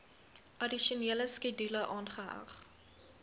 addisionele skedule aangeheg